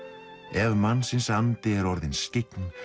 ef mannsins andi er orðinn skyggn